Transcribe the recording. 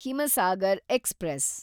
Himsagar express